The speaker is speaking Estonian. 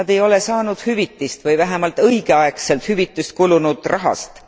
Nad ei ole saanud hüvitist või vähemalt õigeaegset hüvitist kulunud raha eest.